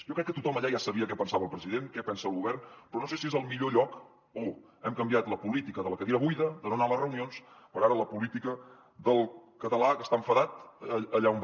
jo crec que tothom allà ja sabia què pensava el president què pensa el govern però no sé si és el millor lloc o hem canviat la política de la cadira buida de no anar a les reunions per ara la política del català que està enfadat allà on va